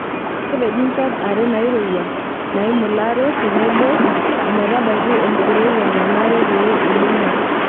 Kepeji nchot are nairowua naimularo tenebo ometabaiki enkirowua nanare pee eibung'a.